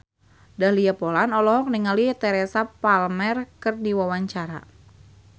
Dahlia Poland olohok ningali Teresa Palmer keur diwawancara